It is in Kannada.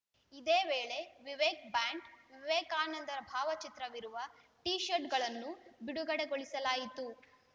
ಇದೇ ವೇಳೆ ವಿವೇಕ್‌ ಬ್ಯಾಂಡ್‌ ವಿವೇಕಾನಂದರ ಭಾವಚಿತ್ರವಿರುವ ಟಿ ಶರ್ಟ್‌ಗಳನ್ನು ಬಿಡುಗಡೆಗೊಳಿಸಲಾಯಿತು